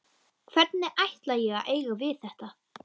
Hvernig ætla ég að eiga við þetta?